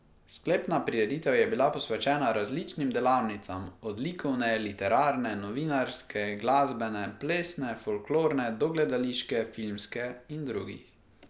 Sklepna prireditev je bila posvečena različnim delavnicam, od likovne, literarne, novinarske, glasbene, plesne, folklorne do gledališke, filmske in drugih.